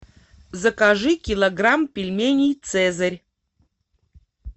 закажи килограмм пельменей цезарь